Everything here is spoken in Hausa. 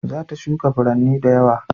Za ta shuka furanni da yawa